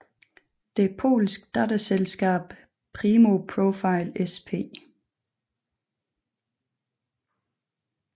Det polske datterselskab Primo Profile Sp